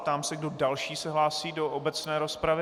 Ptám se, kdo další se hlásí do obecné rozpravy.